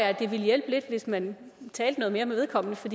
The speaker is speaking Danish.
at det ville hjælpe lidt hvis man talte noget mere med vedkommende for